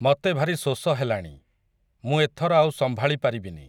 ମତେ ଭାରି ଶୋଷ ହେଲାଣି, ମୁଁ ଏଥର ଆଉ ସମ୍ଭାଳି ପାରିବିନି ।